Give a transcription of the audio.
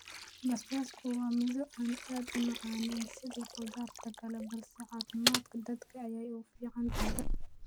basbaasku waa midho aan u macaanayn sida khudaarta kale balse caafimaadka dadka ayay u fiican tahay